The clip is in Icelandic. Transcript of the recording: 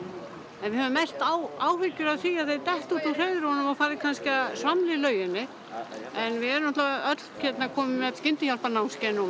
en við höfum mest áhyggjur af því að þeir detti út úr hreiðrinu og fari kannski að svamla í lauginni en við erum öll komin með skyndihjálparnámskeið núna